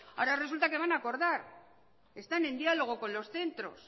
ahora resulta que van a acordar están en diálogo con los centros